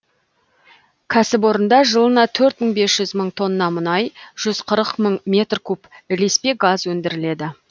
кәсіпорында жылына төрт мың бес жүз мың тонна мұнай жүз қырық мың метр куб ілеспе газ өндіріледі